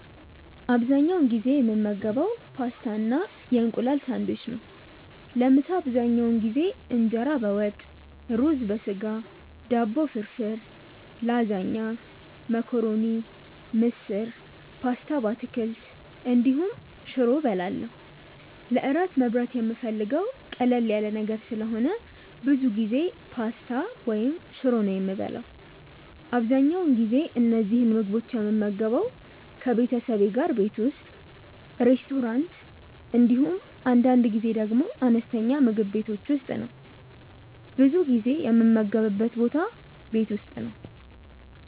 አብዛኛውን ጊዜ የምመገበው ፓስታ እና የእንቁላል ሳንድዊች ነው። ለምሳ አብዛኛውን ጊዜ እንጀራ በወጥ፣ ሩዝ በስጋ፣ ዳቦ ፍርፍር፣ ላዛኛ፣ መኮረኒ፣ ምስር፣ ፓስታ በአትክልት እንዲሁም ሽሮ እበላለሁ። ለእራት መብላት የምፈልገው ቀለል ያለ ነገር ስለሆነ ብዙ ጊዜ ፓስታ ወይም ሽሮ ነው የምበላው። አብዛኛውን ጊዜ እነዚህን ምግቦች የምመገበው ከቤተሰቤ ጋር ቤት ውስጥ፣ ሬስቶራንት እንዲሁም አንዳንድ ጊዜ ደግሞ አነስተኛ ምግብ ቤቶች ውስጥ ነው። ብዙ ጊዜ የምመገብበት ቦታ ቤት ውስጥ ነው።